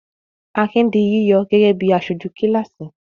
Akin di yíyọ gẹ́gẹ́ bí aṣojú kíláàsì?